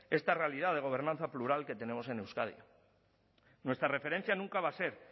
esta realidad de gobernanza plural que tenemos en euskadi nuestra referencia nunca va a ser